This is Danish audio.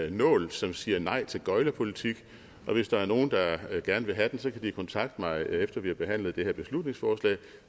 en nål som siger nej til gøglerpolitik og hvis der er nogen der gerne vil have den så kan de kontakte mig efter vi har behandlet det her beslutningsforslag